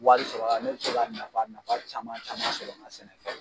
Wari sɔrɔ a la ne bi se ka nafa nafa caman caman sɔrɔ n ka sɛnɛfɛn